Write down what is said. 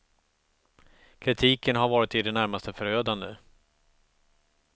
Kritiken har varit i det närmaste förödande.